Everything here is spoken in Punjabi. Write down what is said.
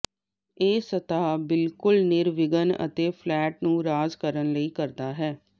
ਇਹ ਸਤਹ ਬਿਲਕੁਲ ਨਿਰਵਿਘਨ ਅਤੇ ਫਲੈਟ ਨੂੰ ਰਾਜ ਕਰਨ ਲਈ ਕਰਦਾ ਹੈ